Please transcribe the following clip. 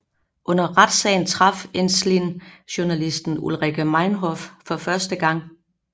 Under retssagen traf Ensslin journalisten Ulrike Meinhof for første gang